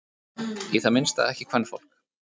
Í það minnsta ekki kvenfólk.